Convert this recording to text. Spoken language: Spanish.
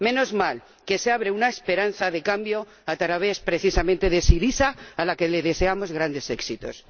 Menos mal que se abre una esperanza de cambio a través, precisamente, de Syriza, a la que deseamos grandes éxitos.